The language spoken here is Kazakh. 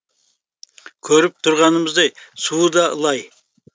көріп тұрғанымыздай суы да лай